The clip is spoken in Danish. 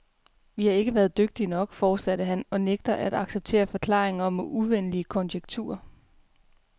Vi har ikke været dygtige nok, fortsatte han, og nægtede at acceptere forklaringer om uvenlige konjunkturer.